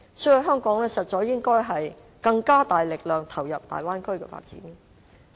所以，香港應該以更大力度投入大灣區的發展。